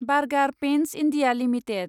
burger Paints India limited